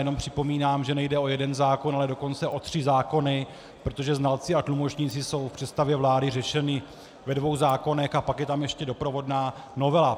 Jenom připomínám, že nejde o jeden zákon, ale dokonce o tři zákony, protože znalci a tlumočníci jsou v představě vlády řešeni ve dvou zákonech a pak je tam ještě doprovodná novela.